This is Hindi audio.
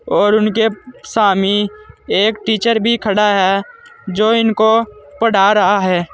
और उनके सामी एक टीचर भी खड़ा है जो इनको पढ़ा रहा है।